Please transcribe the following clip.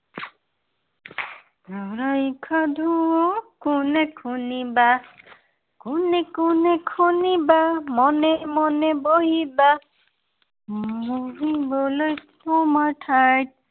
চৰাইৰ সাধু কোনে শুনিবা। কোনে কোন শুনিবা, মনে মনে বহিবা। উম বহিবলৈ পাবা ঠাই।